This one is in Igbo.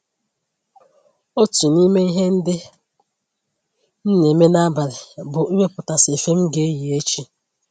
Otu n'ime ihe ndị m na-eme n'abalị bụ iwepụtasị efe m ga-eyi echi